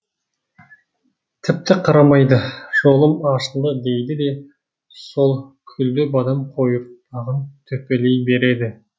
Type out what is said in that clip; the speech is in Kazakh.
тіпті қарамайды жолым ашылды дейді де сол күлдібадам қойыртпағын төпелей береді